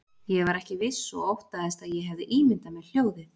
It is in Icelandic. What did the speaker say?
Ég var ekki viss og óttaðist að ég hefði ímyndað mér hljóðið.